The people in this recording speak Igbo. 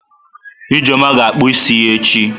Ijeoma ga-akpụ isi ya echi.